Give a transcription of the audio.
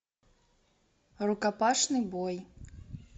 рукопашный бой